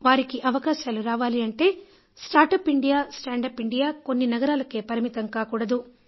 వారికి అవకాశాలు రావాలి అంటే start up India stand up India కొన్ని నగరాలకే పరిమితం కాకూడదు